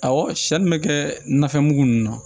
Awɔ siyɛn min bɛ kɛ nafɛn mugu ninnu na